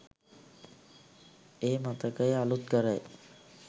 ඒ මතකය අලුත් කරයි.